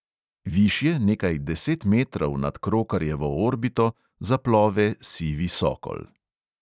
Višje, nekaj deset metrov nad krokarjevo orbito, zaplove sivi sokol.